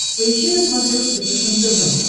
поищи на смотрешке фэшен тв